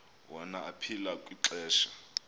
wona aphila kwixesha